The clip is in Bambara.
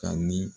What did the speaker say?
Ka ni